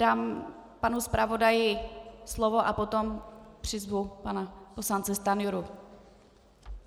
Dám panu zpravodaji slovo a potom přizvu pana poslance Stanjuru.